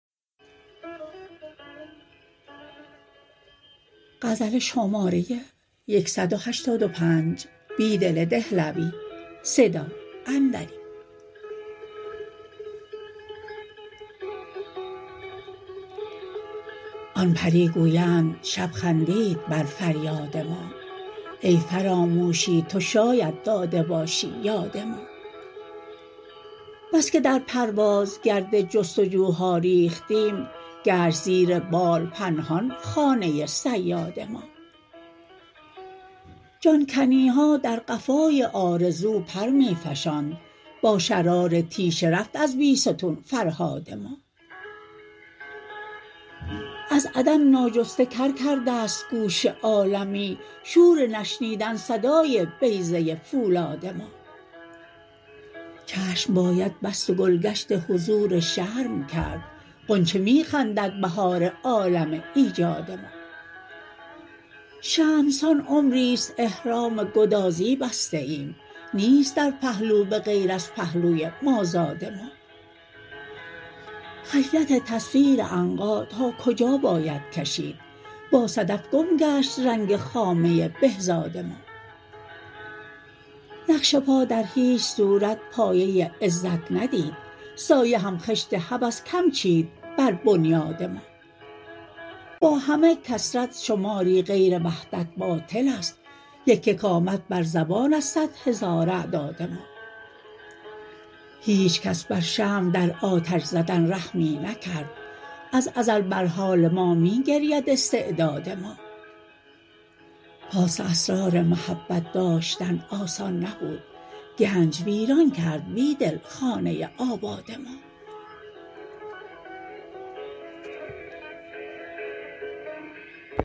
آن پری گویند شب خندید بر فریاد ما ای فراموشی تو شاید داده باشی یاد ما بس که در پرواز گرد جستجوها ریختیم گشت زیر بال پنهان خانه صیاد ما جان کنی ها در قفای آرزو پر می فشاند با شرار تیشه رفت از بیستون فرهاد ما از عدم ناجسته کر کرده ست گوش عالمی شور نشنیدن صدای بیضه فولاد ما چشم باید بست و گلگشت حضور شرم کرد غنچه می خندد بهار عالم ایجاد ما شمع سان عمریست احرام گدازی بسته ایم نیست در پهلو به غیر از پهلوی مازاد ما خجلت تصویر عنقا تا کجا باید کشید با صدف گم گشت رنگ خامه بهزاد ما نقش پا در هیچ صورت پایه عزت ندید سایه هم خشت هوس کم چید بر بنیاد ما با همه کثرت شماری غیر وحدت باطلست یک یک آمد بر زبان از صدهزار اعداد ما هیچ کس بر شمع در آتش زدن رحمی نکرد از ازل بر حال ما می گرید استعداد ما پاس اسرار محبت داشتن آسان نبود گنج ویران کرد بیدل خانه آباد ما